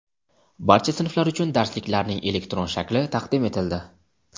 Barcha sinflar uchun darsliklarning elektron shakli taqdim etildi.